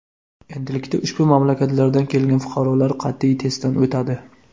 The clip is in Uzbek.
Endilikda ushbu mamlakatlardan kelgan fuqarolar qat’iy testdan o‘tadi.